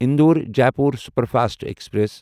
Indore Jaipur superfast express